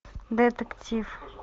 детектив